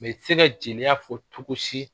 Mɛ i tɛ se ka jɛnɛya fɔ cogo si